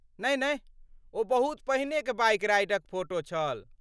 नहि नहि, ओ बहुत पहिनेक बाइक राइडक फोटो छल।